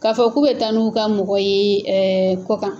K'a fɔ k'u bɛ taa n'u ka mɔgɔ ye kɔ kan